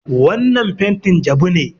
Wannan fentin jabu ne.